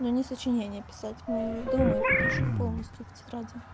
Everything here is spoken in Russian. ну ни сочинение описать мы его уже дома пишем полностью в тетради